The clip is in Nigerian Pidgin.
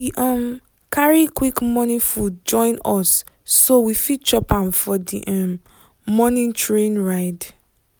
we um carry quick morning food join us so we fit chop am for the um morning train ride.